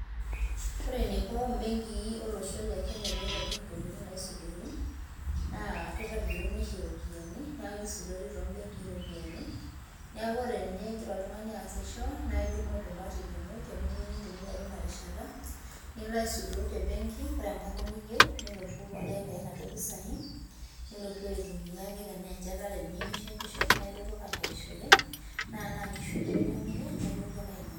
Ore eneiko mbenkii olosho le Kenya peitobir ndokitin naisudori naa keitobiruni oshi iropiani neisudoori too imbenkii iropiani niaku ore ninye igira oltungani aasisho naa idumu olchumati lino teniyieu nintumia teina rishata nilo asidoo te benki ore enkata niyieu nilotu aitayu inaduo pisai nilotu aitumia tenaa enjetare iyieu nishetisho naa ilotu ake ashetishore naa tenaa nkishu iyie ninyangunye naa ilotu ake ainyang'u